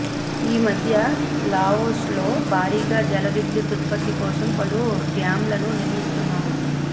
ఈ మధ్య లావోస్లో భారీగా జలవిద్యుత్ ఉత్పత్తి కోసం పలు డ్యామ్లను నిర్మిస్తున్నారు